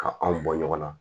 Ka anw bɔ ɲɔgɔn na